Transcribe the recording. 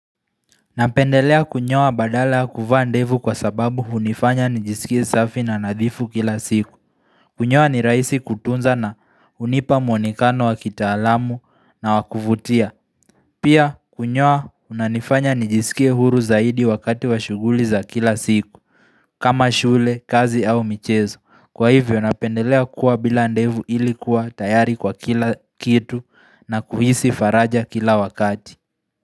Napendelea kunyoa badala kuvaa ndevu kwa sababu unifanya nijisikie safi na nadhifu kila siku. Kunyoa ni raisi kutunza na unipa mwonekano wa kita alamu na wakuvutia. Pia kunyoa unanifanya nijisikie huru zaidi wakati wa shuguli za kila siku, kama shule, kazi au michezo. Kwa hivyo napendelea kuwa bila ndevu ilikuwa tayari kwa kila kitu na kuhisi faraja kila wakati.